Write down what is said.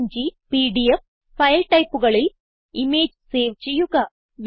PNG PDF file ടൈപ്പുകളിൽ image save ചെയ്യുക